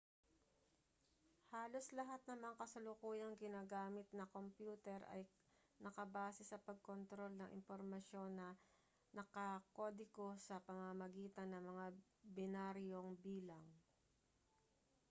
halos lahat ng mga kasalukuyang ginagamit na kompyuter ay nakabase sa pagkontrol ng impormasyon na nakakodigo sa pamamagitan ng mga binaryong bilang